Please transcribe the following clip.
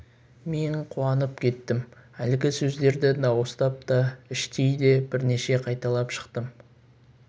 мен қуанып кеттім әлгі сөздерді дауыстап та іштей де бірнеше рет қайталап шықтым